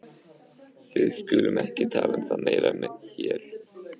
Við skulum ekki tala um það meira hér.